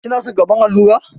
Kina son karɓar allura?